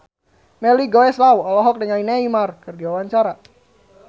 Melly Goeslaw olohok ningali Neymar keur diwawancara